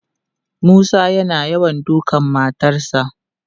Musa yana yawan dukan matarsa.